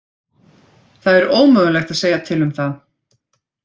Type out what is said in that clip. Það er ómögulegt að segja til um það.